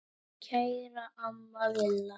Kæra amma Villa.